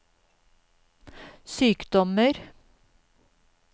sykdommer